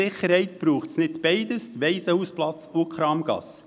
Sicher braucht es nicht beides, also den Waisenhausplatz und die Kramgasse.